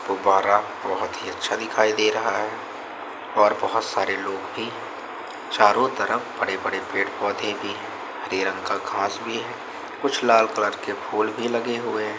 गुब्बारा बहुत ही अच्छा दिखाई दे रहा है और बहुत सारे लोग भी चारों तरफ बड़े-बड़े पेड़ पौधे भी हरे रंग का घास भी है कुछ लाल कलर के फूल भी लगे हुए हैं।